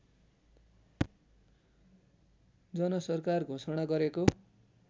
जनसरकार घोषणा गरेको